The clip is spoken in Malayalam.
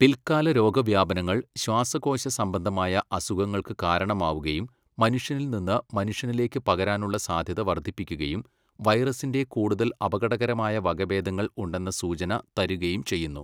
പിൽക്കാല രോഗവ്യാപനങ്ങൾ ശ്വാസകോശ സംബന്ധമായ അസുഖങ്ങൾക്ക് കാരണമാവുകയും മനുഷ്യനിൽ നിന്ന് മനുഷ്യനിലേക്ക് പകരാനുള്ള സാധ്യത വർദ്ധിപ്പിക്കുകയും വൈറസിൻ്റെ കൂടുതൽ അപകടകരമായ വകഭേദങ്ങൾ ഉണ്ടെന്ന സൂചന തരുകയും ചെയ്യുന്നു.